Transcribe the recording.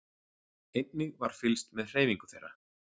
Einnig var fylgst með hreyfingu þeirra